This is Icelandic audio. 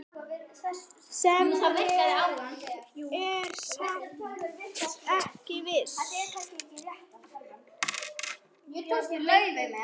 Ég er samt ekki viss.